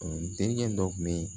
denkɛ dɔ kun bɛ